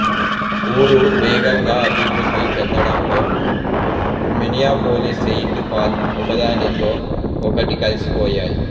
ఊరు వేగంగా అభివృద్ధి చెందడంతో మిన్నియాపోలిస్ సెయింట్ పాల్ ఒకదానితో ఒకటి కలసిపోయాయి